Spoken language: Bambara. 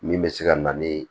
Min bɛ se ka na ni